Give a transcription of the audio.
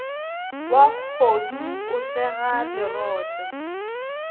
wa kgodu o sega lerotse